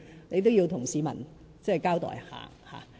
你也應向市民交代一下。